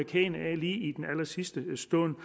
lige i den allersidste stund